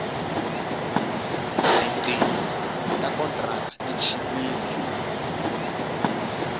tinqingho ta kontraka ti chipile